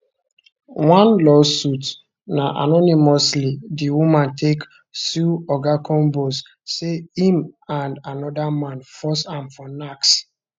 one lawsuit na anonymously the woman take sue oga combs say im and anoda man force am for nacks